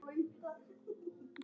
Kveðja, Inga.